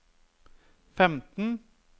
femten